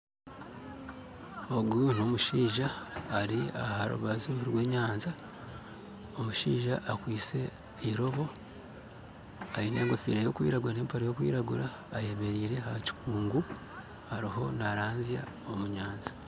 Ogu n'omushaija ari aharubaju rw'enyanja omushaija akwitse irobo aine enkofiira y'okwiragura n'empare y'okwiragura ayemereire aha kikungu aruho naranzya omu nyanja